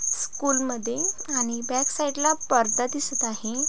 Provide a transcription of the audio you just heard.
स्कूलमध्ये आणि बॅक साइडला पडदा दिसत आहे.